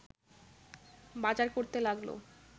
বাজার করতে লাগল